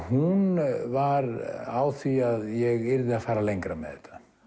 hún var á því að ég yrði að fara lengra með